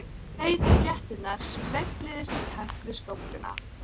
Hann er með ígerð í nefinu, sagði ég.